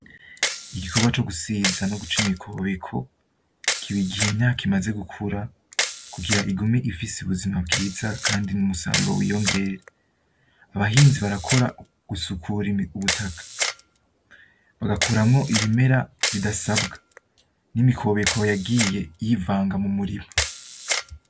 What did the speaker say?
Igikorwa co gusiza no guca imikobeko kiba igihe imyaka imaze gukura kugira igume ifise ubuzima bwiza kandi n'umusaruro w'iyongere. Abahinzi barakora gusukura ubutaka bagakuramwo ibimera bidasabwa n'imikobeko yagiye yivanga mu murima.